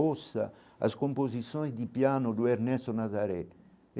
Ouça as composições de piano do Ernesto Nazaré.